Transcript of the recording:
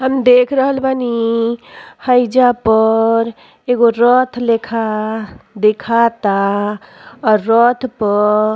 हम देख रहल बानी। हैईजा पर एगो रथ लेखा दिखता अर रथ पर --